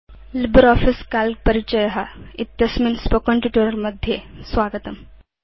LibreOffice Calc परिचय इत्यस्मिन् मौखिकपाठे स्वागतम्